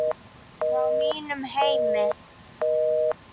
Frá mínum heimi.